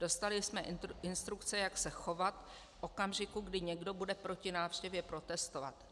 Dostali jsme instrukce, jak se chovat v okamžiku, kdy někdo bude proti návštěvě protestovat.